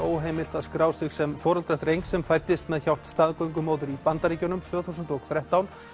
heimilt að skrá sig sem foreldra drengs sem fæddist með hjálp staðgöngumóður í Bandaríkjunum tvö þúsund og þrettán